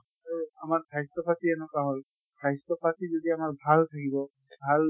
আৰু আমাৰ স্বাস্থ্য় পাতি এনকুৱা হʼল, স্বাস্থ্য় পাতি যদি আমাৰ ভাল থাকিব। ভাল